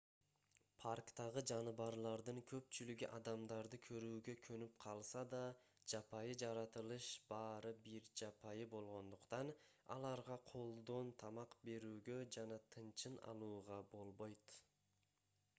парктагы жаныбарлардын көпчүлүгү адамдарды көрүүгө көнүп калса да жапайы жаратылыш баары бир жапайы болгондуктан аларга колдон тамак берүүгө жана тынчын алууга болбойт